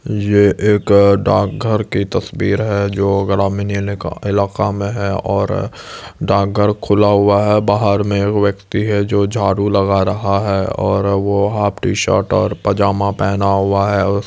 यह एक डाकघर की तस्वीर है जो ग्रामीण इनेक इलाका में है और डाकघर खुला हुआ है बाहर में वो व्यक्ति है जो झाड़ू लग रहा है और वो हाफ टी-शर्ट और पजामा पहना हुआ है उसके--